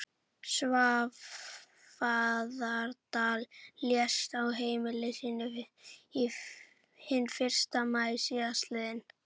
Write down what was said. Svarfaðardal, lést á heimili sínu hinn fyrsta maí síðastliðinn.